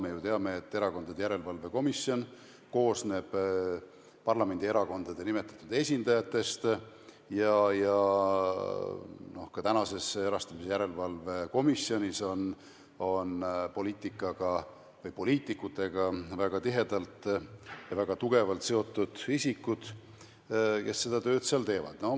Me ju teame, et Erakondade Rahastamise Järelevalve Komisjon koosneb parlamendierakondade nimetatud esindajatest ja ka praeguses komisjonis on poliitikutega väga tihedalt ja tugevalt seotud isikud, kes seda tööd seal teevad.